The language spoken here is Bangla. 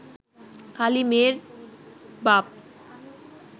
খালি মেয়ের বাপ